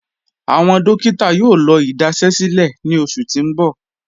Awọn dòkítà yóò lọ́ idasẹ̀sílẹ̀ ní ọṣù tí n bọ̀.